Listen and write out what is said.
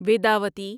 Vedavati